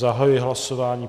Zahajuji hlasování.